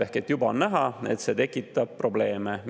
Ehk et juba on näha, et see tekitab probleeme.